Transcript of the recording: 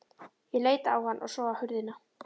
Ég leit á hann og svo á hurðina.